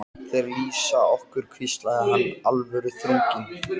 Þeir lýsa okkur hvíslaði hinn alvöruþrunginn.